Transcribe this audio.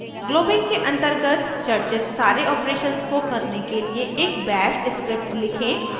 globbing के अन्तर्गत चर्चित सारे ऑपरेशंस को करने के लिए एक बैश स्क्रिप्ट लिखें